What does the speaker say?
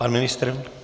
Pan ministr?